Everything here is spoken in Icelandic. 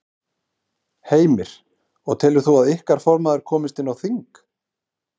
Heimir: Og telur þú að ykkar formaður komist inn á þing?